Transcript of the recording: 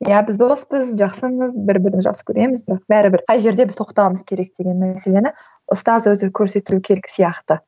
иә біз доспыз жақсымыз бір бірімізді жақсы көреміз бірақ бәрібір қай жерде біз тоқтауымыз керек деген мәселені ұстаз өзі көрсету керек сияқты